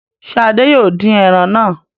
Ṣé Adé yóò dín ẹran náà?